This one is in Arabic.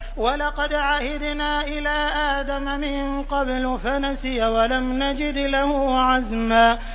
وَلَقَدْ عَهِدْنَا إِلَىٰ آدَمَ مِن قَبْلُ فَنَسِيَ وَلَمْ نَجِدْ لَهُ عَزْمًا